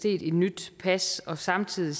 et nyt pas og samtidig